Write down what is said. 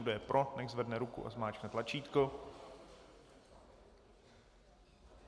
Kdo je pro, nechť zvedne ruku a zmáčkne tlačítko.